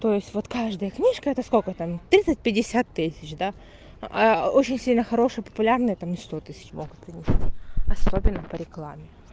то есть вот каждая книжка это сколько там тридцать пятьдесят тысяч да а очень сильно хорошая популярная там сто тысяч могут принести особенно по рекламе